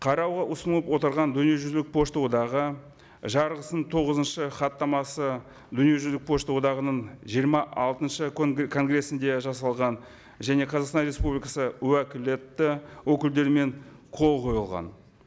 қарауға ұсынып отырған дүниежүзілік пошта одағы жарғысының тоғызыншы хаттамасы дүниежүзілік пошта одағының жиырма алтыншы конгрессінде жасалған және қазақстан республикасы уәкілетті өкілдерімен қол қойылған